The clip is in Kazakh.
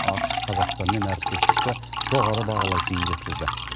ақш қазақстанмен әріптестікті жоғары бағалайтынын жеткізді